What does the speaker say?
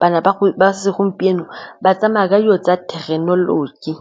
bana ba segompieno ba tsamaya ka dilo tsa thekenoloji.